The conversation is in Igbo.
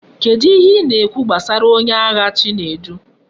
Kedu ihe I na ekwu gbasara onye agha chinedu?